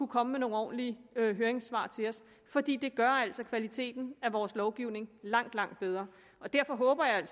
komme med nogle ordentlige høringssvar til os fordi det gør kvaliteten af vores lovgivning langt langt bedre derfor håber jeg